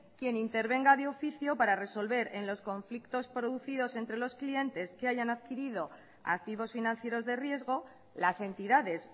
quien intervenga de oficio para resolver en los conflictos producidos entre los clientes que hayan adquirido activos financieros de riesgo las entidades